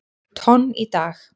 tonn í dag.